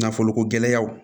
Nafolo ko gɛlɛyaw